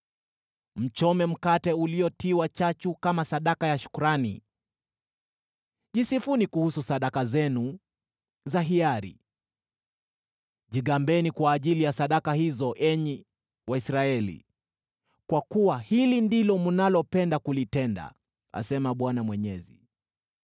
Mchome mkate uliotiwa chachu kama sadaka ya shukrani, jisifuni kuhusu sadaka zenu za hiari: jigambeni kwa ajili ya sadaka hizo, enyi Waisraeli, kwa kuwa hili ndilo mnalopenda kulitenda,” asema Bwana Mwenyezi.